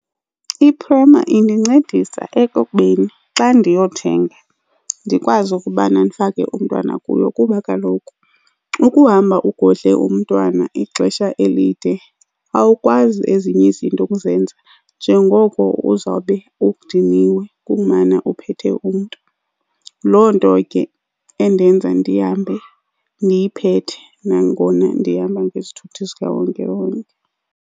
Iprhema indincedisa ekubeni xa ndiyothenga ndikwazi ukubana ndifake umntwana kuyo kuba kaloku ukuhamba ugodle umntwana ixesha elide awukwazi ezinye izinto ukuzenza njengoko uzawube udiniwe kukumana uphethe umntu. Loo nto ke endenza ndihambe ndiyiphethe nangona ndihamba ngesithuthi sikawonkewonke.